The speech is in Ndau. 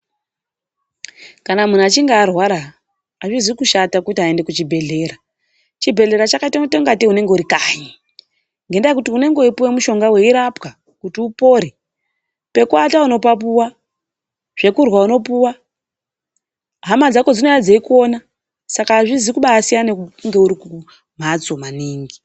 Kana muntu achinga arwara azvizi kushata kuti aende kuchibhehlera. Chibhehlera chakaita kuita kungatei unenge uri kanyi. Ngendaa yekuti unenge uchipuwa mishonga kuti upore. Pekuata unopapuwa. Zvekurya unopuwa. Hama dzako dzinouya dzeikuona saka azvizi kubasiyana nekunge uri kumhatso maningi.